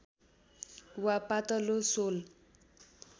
वा पातलो सोल